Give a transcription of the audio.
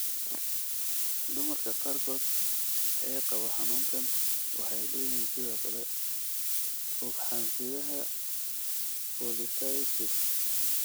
Dumarka qaarkood ee qaba xanuunkan waxay leeyihiin sidoo kale ugxan-sidaha polycystic.